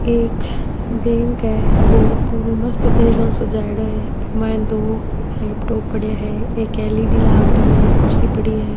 एक बैक है बो पूरा मस्त तरीके ऊ सजायेडो है बि माय दो लैपटॉप पड़या है एक एल.इ.डी. लाग री है एक कुर्सी पड़ी है।